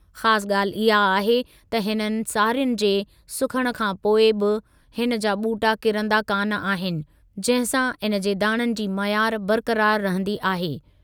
ख़ासि ॻाल्हि इहा आहे त हिननि सारियुनि जे सुखण खां पोइ बि हिन जा ॿूटा किरंदा कान आहिनि, जंहिं सां इन जे दाणनि जी मयारु बरक़रार रहंदी आहे।